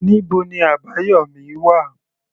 Níbo ni Abayomi wà?